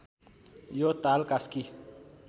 यो ताल कास्की